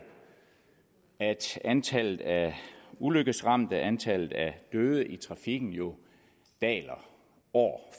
at antallet af ulykkesramte antallet af døde i trafikken jo daler år